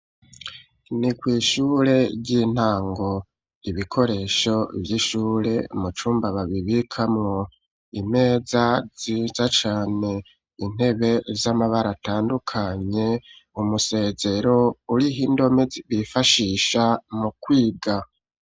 Ni kw'ishure ry'intango, ibikoresho vy'ishure mu cumba babibikamwo, imeza nziza cane, intebe z'amabara atandukanye, umusezero uriho indome bifashisha mu kwiga